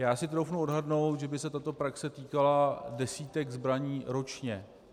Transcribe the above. Já si troufnu odhadnout, že by se tato praxe týkala desítek zbraní ročně.